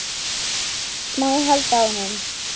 Má ég halda á honum?